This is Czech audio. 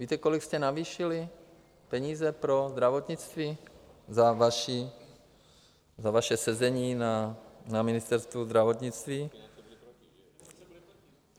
Víte, kolik jste navýšili peníze pro zdravotnictví za vaše sezení na Ministerstvu zdravotnictví?